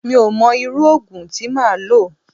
Mi ò mọ irú òògùn tí máa lò.